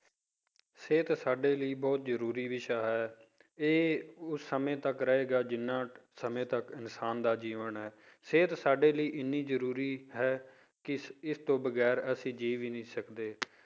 ਸਿਹਤ ਸਾਡੇ ਲਈ ਬਹੁਤ ਜ਼ਰੂਰੀ ਵਿਸ਼ਾ ਹੈ ਇਹ ਉਸ ਸਮੇਂ ਤੱਕ ਰਹੇਗਾ ਜਿੰਨਾ ਸਮੇਂ ਤੱਕ ਇਨਸਾਨ ਦਾ ਜੀਵਨ ਹੈ ਸਿਹਤ ਸਾਡੇ ਲਈ ਇੰਨੀ ਜ਼ਰੂਰੀ ਹੈ ਕਿ ਇਸ ਤੋਂ ਵਗ਼ੈਰ ਅਸੀਂ ਜੀਅ ਵੀ ਨਹੀਂ ਸਕਦੇ